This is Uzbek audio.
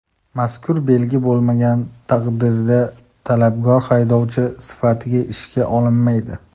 Mazkur belgi bo‘lmagan taqdirda talabgor haydovchi sifatida ishga olinmaydi.